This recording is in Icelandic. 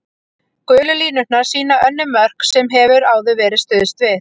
Gulu línurnar sýna önnur mörk sem hefur áður verið stuðst við.